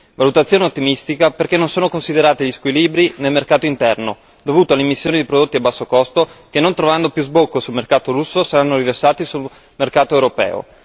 Valutazione ottimistica perché non sono considerati gli squilibri nel mercato interno, dovuti all'immissione di prodotti a basso costo che non trovando più sbocco sul mercato russo saranno riversati sul mercato europeo.